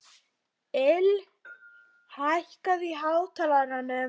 Lill, hækkaðu í hátalaranum.